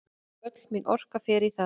Öll mín orka fer í það.